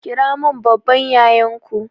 Kiramin babban yayanku